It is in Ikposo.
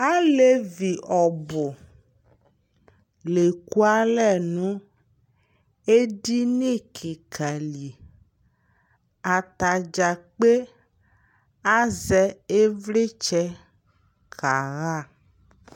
Alevi ɔbʋ la ekualɛ nʋ edini kɩka li Atadzaa kpe asɛ ɩvlɩtsɛ kaɣa